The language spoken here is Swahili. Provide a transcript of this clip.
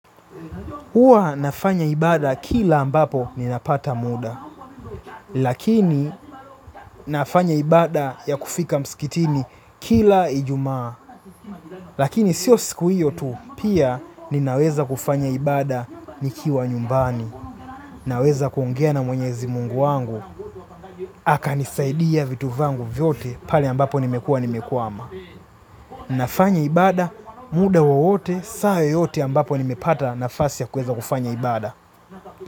Hua nafanya ibada kila ambapo ninapata muda, lakini nafanya ibada ya kufika msikitini kila ijumaa. Lakini sio siku hiyo tu pia ninaweza kufanya ibada nikiwa nyumbani, naweza kuongea na mwenyezi mungu wangu, akanisaidia vitu vyangu vyote pale ambapo nimekua nimekwama. Ninafanya ibada, muda wowote, saa yoyote ambapo nimepata nafasi ya kufanya ibada.